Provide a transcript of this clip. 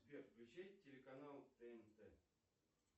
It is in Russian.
сбер включи телеканал тнт